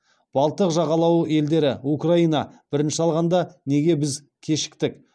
балтық жағалауы елдері украина бірінші алғанда неге біз кешіктік